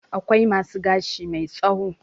Akwai masu gashi mai tsawo.